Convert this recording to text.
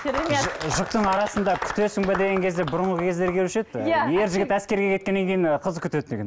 керемет жұп жұптың арасында күтесің бе деген кезде бұрынғы кездер келуші еді ер жігіт әскерге кеткеннен кейін қыз күтеді деген